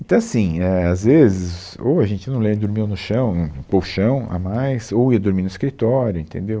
Então assim, é, às vezes, ou a gente, eu não lembro, dormiu no chão, no colchão a mais, ou ia dormir no escritório, entendeu?